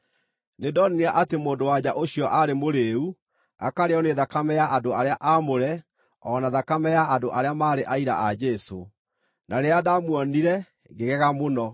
Nĩndonire atĩ mũndũ-wa-nja ũcio aarĩ mũrĩĩu, akarĩĩo nĩ thakame ya andũ arĩa aamũre, o na thakame ya andũ arĩa maarĩ aira a Jesũ. Na rĩrĩa ndaamuonire, ngĩgega mũno.